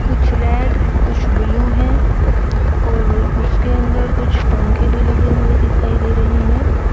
कुछ रेड कुछ ब्लू है और उसके अंदर कुछ पंखे भी लगे हुए दिखाई दे रहे हैं।